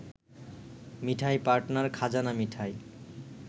মিঠাই partner খাজানা মিঠাই